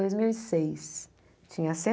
Dois mil e seis tinha